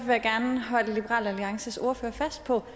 jeg gerne holde liberal alliances ordfører fast på